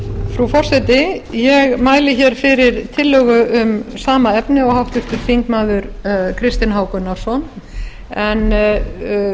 frú forseti ég mæli hér fyrir tillögu um sama efni og háttvirtur þingmaður kristinn h gunnarsson en